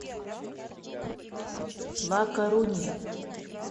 ла корунья